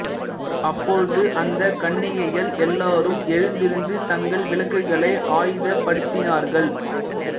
அப்பொழுது அந்தச் கன்னிகைகள் எல்லாரும் எழுந்திருந்து தங்கள் விளக்குகளை ஆயத்தப்படுத்தினார்கள்